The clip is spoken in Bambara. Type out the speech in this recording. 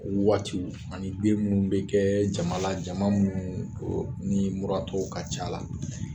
o waatiw ani den munnu bi kɛ jama la jama munnu ɔ ni muratɔw ka ca la